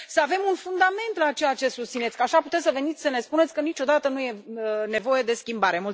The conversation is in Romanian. Adică, să avem un fundament la ceea ce susțineți, că așa puteți să veniți să ne spuneți că niciodată nu e nevoie de schimbare.